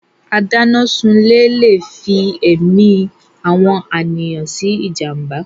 Adánásunlé Le fí èmi àwọn àníyàn sí jàmbá.